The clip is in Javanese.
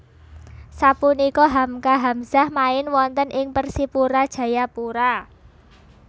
Sapunika Hamka Hamzah main wonten ing Persipura Jayapura